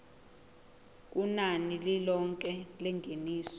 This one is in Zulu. kunani lilonke lengeniso